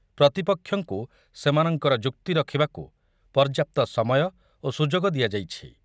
ପ୍ରତିପକ୍ଷଙ୍କୁ ସେମାନଙ୍କର ଯୁକ୍ତି ରଖିବାକୁ ପର୍ଯ୍ୟାପ୍ତ ସମୟ ଓ ସୁଯୋଗ ଦିଆଯାଇଛି ।